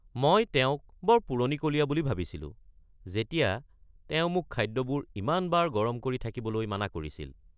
মই তেওঁক বৰ পুৰণিকলীয়া বুলি ভাবিছিলোঁ যেতিয়া তেওঁ মোক খাদ্যবোৰ ইমান বাৰ গৰম কৰি থাকিবলৈ মানা কৰিছিল।